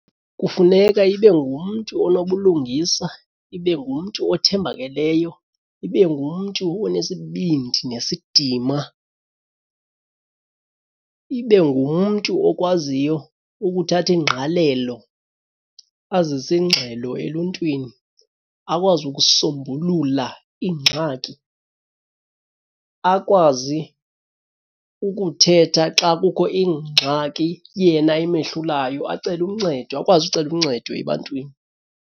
Kufuneka ibe ngumntu onobulungisa, ibe ngumntu othembakeleyo, ibe ngumntu onesibindi nesidima. Ibe ngumntu okwaziyo ukuthatha ingqalelo azise ingxelo eluntwini, akwazi ukusombulula iingxaki, akwazi ukuthetha xa kukho ingxaki yena emehlulayo acele uncedo akwazi ucela uncedo ebantwini.